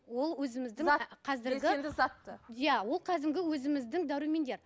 ол өзіміздің иә ол кәдімгі өзіміздің дәрумендер